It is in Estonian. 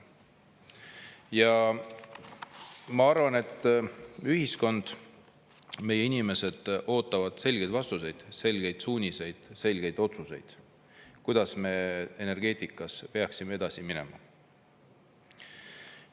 Ja ma arvan, et ühiskond, meie inimesed ootavad selgeid vastuseid, selgeid suuniseid, selgeid otsuseid, kuidas me energeetikas peaksime edasi minema.